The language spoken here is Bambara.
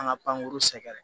An ka pankuru sɛgɛrɛ